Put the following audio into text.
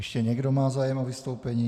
Ještě někdo má zájem o vystoupení?